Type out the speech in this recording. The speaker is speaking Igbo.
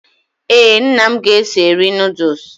Ee, nna m ga-eso eri nọọdus